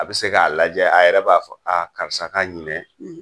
A bi se k'a lajɛ a yɛrɛ b'a fɔ a karisa ka ɲinɛ